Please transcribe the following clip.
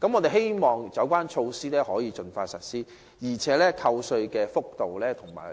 我們希望有關措施能盡快實施，而扣稅幅度及